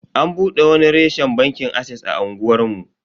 An bude wani reshen bankin ases a unguwar mu.